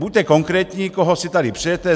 Buďte konkrétní, koho si tady přejete!